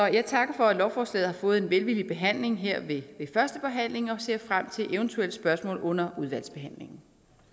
jeg takker for at lovforslaget har fået en velvillig behandling her ved første behandling og ser frem til eventuelle spørgsmål under udvalgsbehandlingen